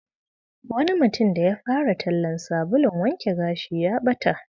Wani mutum da ya fara tallan sabulun wanke gashi ya bata.